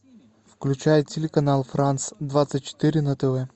включай телеканал франс двадцать четыре на тв